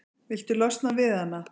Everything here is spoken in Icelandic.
Viltu losna við hana?